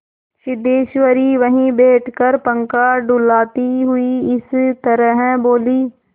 सिद्धेश्वरी वहीं बैठकर पंखा डुलाती हुई इस तरह बोली